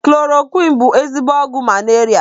Kloroqiin bụ ezigbo ọgwụ malaria